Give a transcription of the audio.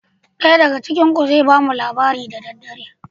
Ɗaya daga cikin ku zai bamu labari da daddare.